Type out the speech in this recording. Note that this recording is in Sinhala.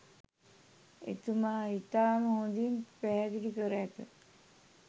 එතුමා ඉතාම හොඳින් පැහැදිලි කර ඇත